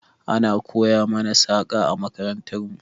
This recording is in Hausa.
Ana koya mana saƙa a makarantar mu.